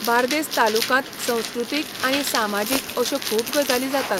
बार्देस तालुकांत संस्कृतीक आनी सामाजीक अश्यो खूब गजाली जातात.